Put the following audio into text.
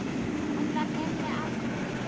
Hann var henni allt.